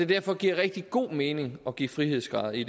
derfor giver det rigtig god mening at give frihedsgrader i